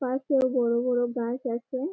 পাশেও বড় বড় গাছ আছে ।